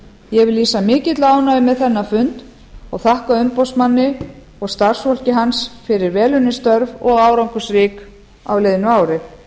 ég vil lýsa mikilli ánægju með þennan fund og þakka umboðsmanni og starfsfólki hans fyrir velunnin störf og árangursrík á liðnu ári ég